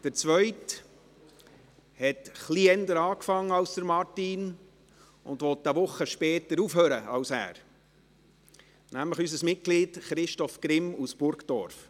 Der zweite Zurücktretende hat etwas eher begonnen als Martin Boss und will eine Woche später aufhören als dieser, nämlich unser Mitglied Christoph Grimm aus Burgdorf.